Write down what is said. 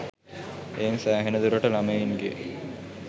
එයින් සෑහෙන දුරට ළමයින්ගේ